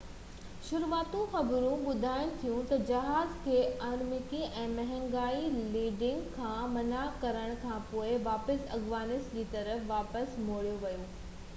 شروعاتي خبرون ٻڌاين ٿيون تہ جهاز کي ارمڪي ۾ هنگامي لينڊنگ کان منع ڪرڻ کانپوءِ واپيس افغانستان جي طرف واپس موڙيو ويو هو